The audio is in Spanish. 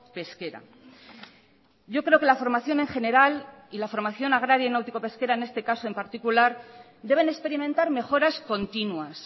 pesquera yo creo que la formación en general y la formación agraria náutico pesquera en este caso en particular deben experimentar mejoras continuas